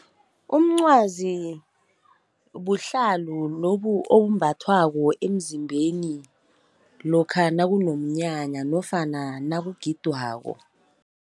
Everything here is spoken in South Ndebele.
Umncwazi buhlalo lobu obumbathwako emzimbeni, lokha nakunomnyanya nofana nakugidwako.